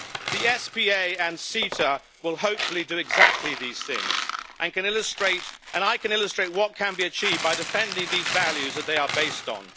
The SPA and CETA will, hopefully, do exactly these things, and I can illustrate what can be achieved by defending these values that they are based on.